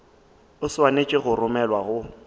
o swanetše go romelwa go